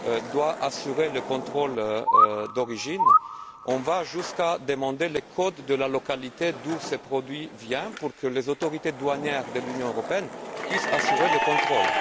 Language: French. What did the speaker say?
doit assurer le contrôle d'origine, on va jusqu'à demander les codes de la localité d'où ces produits sont originaires, pour que les autorités douanières de l'Union européenne puissent assurer le contrôle.